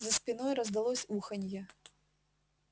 за спиной раздалось уханье